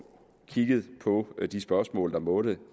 kigget på de spørgsmål der måtte